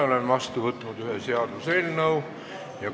Olen vastu võtnud ühe seaduseelnõu.